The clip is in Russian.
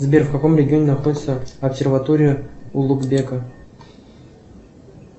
сбер в каком регионе находится обсерватория улугбека